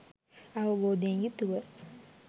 අවබෝධයෙන් යුතුව